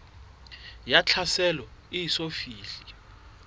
ya tlhaselo e eso fihle